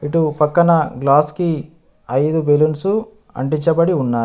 ఇటు పక్కన గ్లాస్కి ఐదు బెలూన్సు అంటించబడి ఉన్నాయి.